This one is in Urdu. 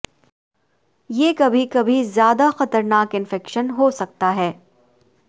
یہ کبھی کبھی زیادہ خطرناک انفیکشن ہو سکتا ہے